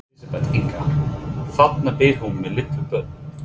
Elísabet Inga: Þarna býr hún með lítil börn?